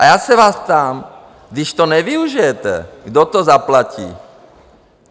A já se vás ptám: Když to nevyužijete, kdo to zaplatí?